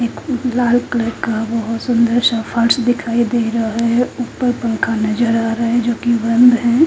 एक लाल कलर का बहुत सुंदर सा पर्श दिखाई दे रहा है उपर पंखा नजर आ रहा है जो की बंद है।